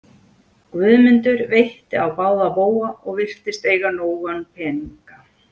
Guðmundur veitti á báða bóga og virtist eiga nóga peninga.